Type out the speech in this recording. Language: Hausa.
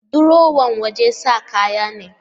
Durowa wajen sa kaya ne